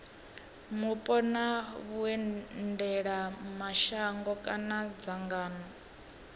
mupo na vhuendelamashango kana dzangano